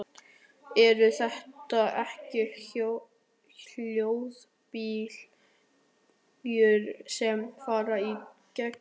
Eru þetta ekki hljóðbylgjur sem fara í gegn?